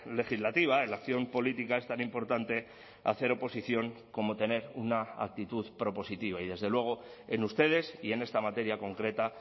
legislativa en la acción política es tan importante hacer oposición como tener una actitud propositiva y desde luego en ustedes y en esta materia concreta